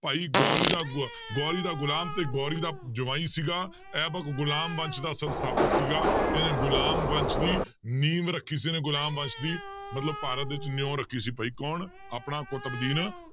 ਭਾਈ ਗੌਰੀ ਦਾ ਗੋ~ ਗੌਰੀ ਦਾ ਗ਼ੁਲਾਮ ਤੇ ਗੌਰੀ ਦਾ ਜਵਾਈ ਸੀਗਾ ਐਬਕ ਗ਼ੁਲਾਮ ਵੰਸ਼ ਦਾ ਸੰਸਥਾਪਕ ਸੀਗਾ ਇਹਨੇ ਗ਼ੁਲਾਮ ਵੰਸ਼ ਦੀ ਨੀਂਵ ਰੱਖੀ ਸੀ ਇਹਨੇ ਗ਼ੁਲਾਮ ਵੰਸ਼ ਦੀ ਮਤਲਬ ਭਾਰਤ ਵਿੱਚ ਨਿਓਂ ਰੱਖੀ ਸੀ ਭਾਈ ਕੌਣ ਆਪਣਾ ਕੁਤਬਦੀਨ,